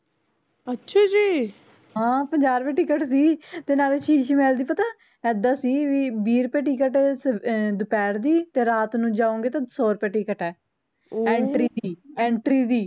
ਹਾਂ ਪੰਜਾਹ ਰੁਪਏ ਟਿਕਟ ਸੀ ਤੇ ਨਾਲੇ ਸ਼ੀਸ਼ ਮਹਿਲ ਦੀ ਪਤਾ ਏਦਾਂ ਸੀ ਵੀ ਵੀਹ ਰੁਪਏ ਟਿਕਟ ਦੁਪਹਿਰ ਦੀ ਤੇ ਰਾਤ ਨੂੰ ਜਾਉਗੇ ਤਾਂ ਸੋ ਰੁਪਏ ਟਿਕਟ ਐ entry ਦੀ